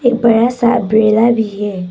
बड़ा सा अंब्रेला भी है।